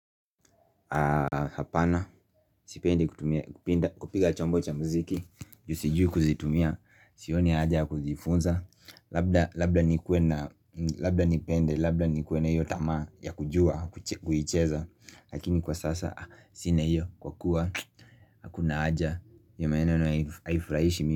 Apana, sipendi kutumia, kupiga chombo cha muziki juu sijui kuzitumia, sionia haja ya kuzifunza labda Labda nikuwe na labda ni pende, labda ni kuwe na hiyi tamaa ya kujua, kuicheza Lakini kwa sasa, sina hiyo kwa kua, hakuna haja hiyo maeneno haifurahishi mimi.